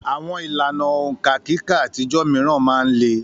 Àwọn ìlànà òǹkà kíkà àtijọ́ mìíràn máa ń le